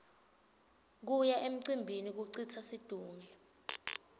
kuya emcimbini kucitsa situnge